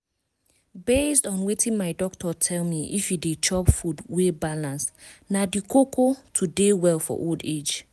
based on wetin my doctor tell me if you dey chop food wey balance na di koko to dey well for old age.